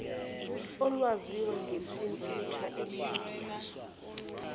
olwaziwa ngesimputer endiya